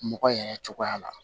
Mɔgɔ yɛrɛ cogoya la